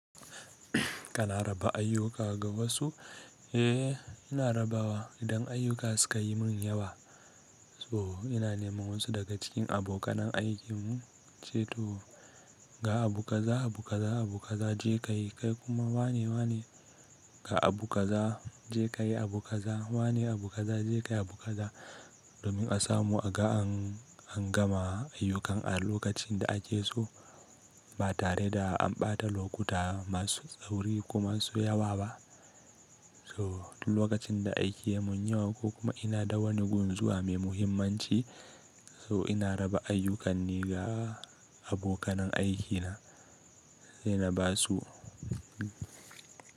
Kana raba ayyuka ga wasu? Eh, ina rabawa idan ayyuka suka yi mun yawa. So ina neman wasu daga cikin abokanai aikinmu, in ce "to ga abu kaza, abu kaza, abu kaza je ka yi kai kuma wane, wane ga abu kaza je ka yi abu kaza, wane abu kaza je ka yi abu kaza domin a samu a ga an gama ayyukan a lokacin da ake so ba tare da an bata lokuta masu tsauri ko masu ya wa ba. So duk lokacin da aiki ya mun yawa ko kuma ina da wani gun zuwa mai muhimmanci so ina raba ayyukan ne ga abokanan aikina sai na ba su.